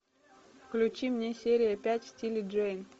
включи мне серия пять в стиле джейн